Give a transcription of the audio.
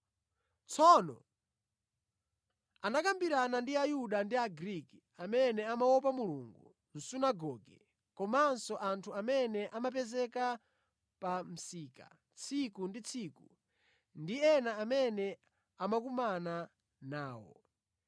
Tsono anakambirana ndi Ayuda ndi Agriki amene amaopa Mulungu mʼsunagoge, komanso anthu amene amapezeka pa msika tsiku ndi tsiku ndi ena amene amakumana nawo.